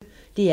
DR P1